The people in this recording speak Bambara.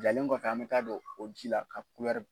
Jalen kɔfɛ an bɛ taa don o ji la ka